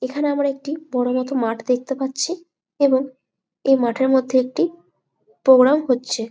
এইখানে আমরা একটি বড় মতো মাঠ দেখতে পাচ্ছি এবং এই মাঠের মধ্যে একটি প্রোগ্রাম হচ্ছে ।